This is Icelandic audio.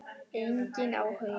Enginn áhugi.